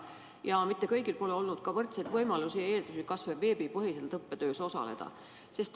Ja mitte kõigil pole olnud häid võimalusi ja eeldusi veebipõhiselt õppetöös osaleda.